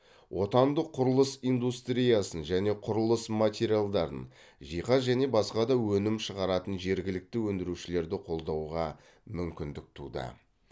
отандық құрылыс индустриясын және құрылыс материалдарын жиһаз және басқа да өнім шығаратын жергілікті өндірушілерді қолдауға мүмкіндік туды